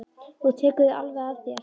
Þú tekur þau alveg að þér.